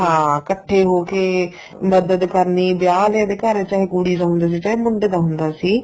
ਹਾਂ ਇਕੱਠੇ ਹੋ ਕੇ ਮਦਦ ਕਰਨੀ ਜਾਂ ਅਗਲਿਆ ਦੇ ਘਰ ਚਾਹੇ ਕੁੜੀ ਦਾ ਹੁੰਦਾ ਸੀ ਚਾਹੇ ਮੁੰਡੇ ਦਾ ਹੁੰਦਾ ਸੀ